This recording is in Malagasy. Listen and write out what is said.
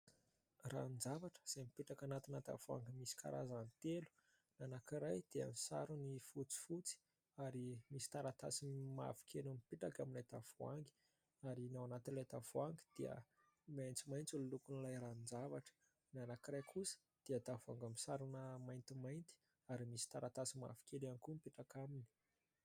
Ranon-javatra izay mipetraka anatina tavoahangy misy karazany telo. Ny anankiray dia ny sarony fotsifotsy ary misy taratasy mavokely mipetaka amin'ilay tavoahangy ary ny ao anatin'ilay tavoahangy dia maitsomaitso ny lokon'ilay ranon-javatra. Ny anankiray kosa dia tavoahangy misarona maintimainty ary misy taratasy mavokely ihany koa mipetaka aminy.